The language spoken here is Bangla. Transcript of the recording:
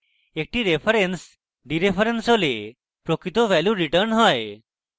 একটি reference ডিreference হলে প্রকৃত value রিটার্ন হয়